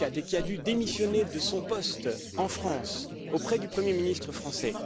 Muscat et qui a dû démissionner de son poste en France, auprès du premier ministre français.